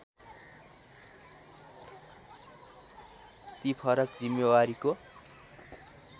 ती फरक जिम्मेवारीको